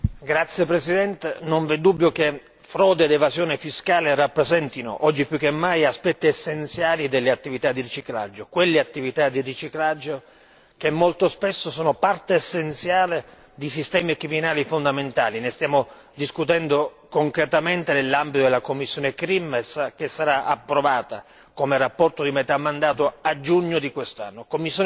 Signor Presidente, onorevoli colleghi, non vi è dubbio che frode ed evasione fiscale rappresentino oggi più che mai aspetti essenziali delle attività di riciclaggio. Quelle attività di riciclaggio che molto spesso sono parte essenziale di sistemi criminali fondamentali, ne stiamo discutendo concretamente nell'ambito della commissione CRIM che sarà approvata come rapporto di metà mandato a giugno di quest'anno.